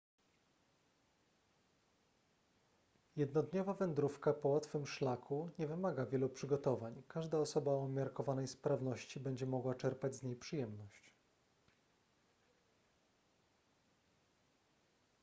jednodniowa wędrówka po łatwym szlaku nie wymaga wielu przygotowań każda osoba o umiarkowanej sprawności będzie mogła czerpać z niej przyjemność